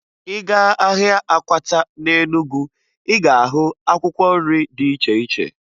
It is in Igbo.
Ị gaa ahịa akwata na Enugu, ị ga-ahụ akwkwọ nri dị iche iche